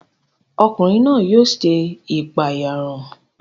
Ọkùnrin náà o ṣe ipaeyarun